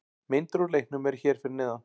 Myndir úr leiknum eru hér fyrir neðan